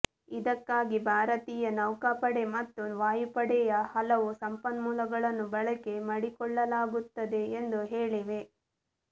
ಇದಕ್ಕಾಗಿ ಭಾರತೀಯ ನೌಕಾಪಡೆ ಮತ್ತು ವಾಯುಪಡೆಯ ಹಲವು ಸಂಪನ್ಮೂಲಗಳನ್ನು ಬಳಕೆ ಮಡಿಕೊಳ್ಳಲಾಗುತ್ತದೆ ಎಂದು ಹೇಳಿವೆ